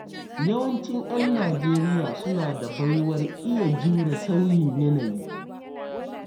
Yawancin 'yan Nijeriya suna da baiwar iya jure sauyin yanayi.